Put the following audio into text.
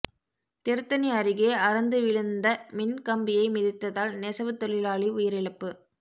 திருத்தணி அருகே அறுந்து விழுந்த மின் கம்பியை மிதித்ததால் நெசவுத் தொழிலாளி உயிரிழப்பு